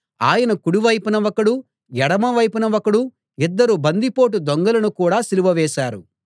ఆయన కుడి వైపున ఒకడు ఎడమ వైపున ఒకడు ఇద్దరు బందిపోటు దొంగలను కూడా సిలువవేశారు